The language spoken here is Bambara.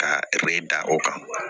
Ka da o kan